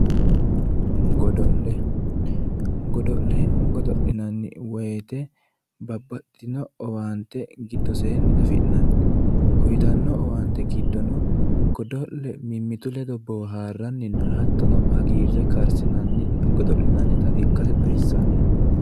godo'le godo'le godo'linanni woyte babbaxitinno owaante gidoseenni afi'nanni uytanno owaante giddo godo'le mimmitu ledo boohaarranninna hattono hagiirre karssinanni godo'linanni